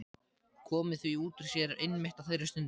Komið því út úr sér einmitt á þeirri stundu.